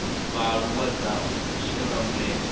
vhaaluwa dza u shela mulenzhe